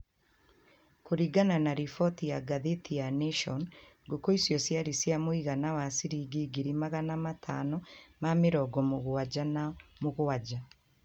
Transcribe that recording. kũringana na rifoti ya ngathĩti ya Nation, ngũkũ icio ciarĩ cia mũigana wa ciringi ngiri magana matano ma mĩrongo mũgwanja na mũgwanja